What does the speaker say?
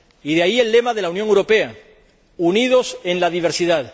De ahí el lema de la Unión Europea unidos en la diversidad.